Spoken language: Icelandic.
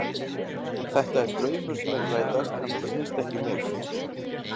Þetta er draumur sem er að rætast en þetta snýst ekki um mig.